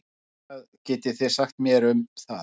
Hvað getið þið sagt mér um það?